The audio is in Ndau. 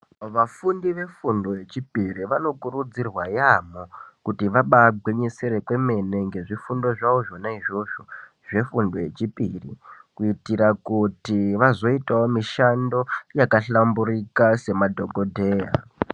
Vafundi vefundo yechipiri vanokurudzirwa yamho kuti vaba gwinyisire kwemene ngezvifundo zvavo zvona izvozvo zvefundo yechipiri kuitira kuti vazoitawo mushando wakahlamburuka samadhokodheya.